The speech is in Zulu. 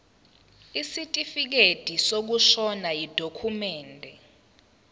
isitifikedi sokushona yidokhumende